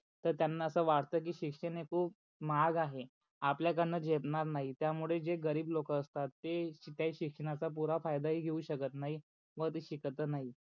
तर त्यांना अस वाटत की शिक्षण हे खूप महाग आहे. आपल्याचान झेपणार नाही त्यामुळे जे गरीब लोक असतात ते त्या शिक्षणाच्या पुर फायदा ही घेऊ शकत नाही व ते शिकत नाही.